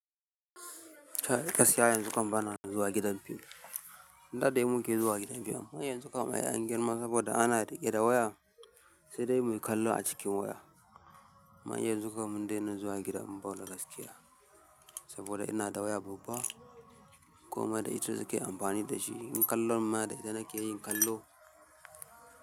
Kai gaskiya yanzu kam bana zuwa gidan fim da dai muke zuwa gidan fim. Yanzu kam ai anyi girma saboda ana riƙe da waya, sai dai muyi kallo a cikin waya. Amman yanzu kam mun dai na zuwa gidan ball gaskiya saboda ina da waya babba komai da ita nake amfani dashi in kallo madadin da na ke yin kallo.